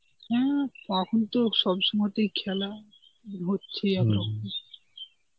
হ্যাঁ, তখন তো সবসময়তেই খেলা হচ্ছেই একরকম.